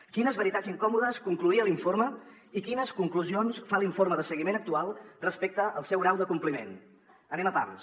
quines veritats incòmodes concloïa l’informe i quines conclusions fa l’informe de seguiment actual respecte al seu grau de compliment anem a pams